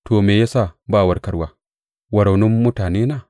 To, me ya sa ba warkarwa wa raunin mutanena?